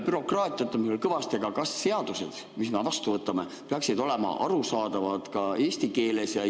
Bürokraatiat on meil veel kõvasti, aga kas seadused, mis me vastu võtame, peaksid olema arusaadavad ka eesti keeles?